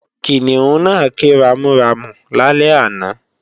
Kìnìún náà ké ramúramù lálẹ́ àná